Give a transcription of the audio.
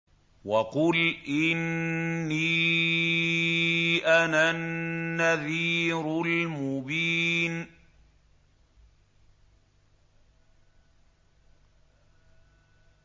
وَقُلْ إِنِّي أَنَا النَّذِيرُ الْمُبِينُ